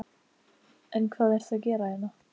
En hvað ertu að gera hérna?